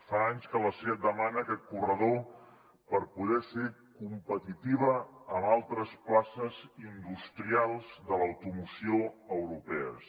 fa anys que la seat demana aquest corredor per poder ser competitiva amb altres places industrials de l’automoció europea